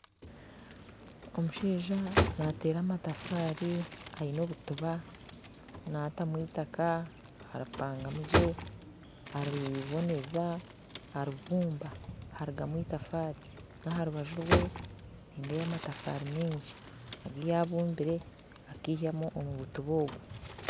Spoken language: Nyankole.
Omushaija naateera amatafaari aine obutiba nateekamu itaaka eripaagamu gye, ariboneeza aribumba harugamu itafaari aharubaju rwe nindeeba amatafaari maingi agu yabumbire agihemu omubitiba obwe